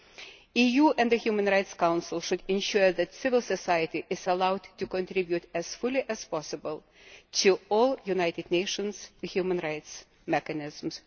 The EU and the Human Rights Council should ensure that civil society is allowed to contribute as fully as possible to all United Nations Human Rights mechanisms.